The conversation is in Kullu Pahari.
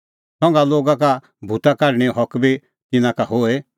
संघा लोगा का भूता काढणेंओ हक बी तिन्नां का होए